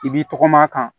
I b'i tɔgɔma a kan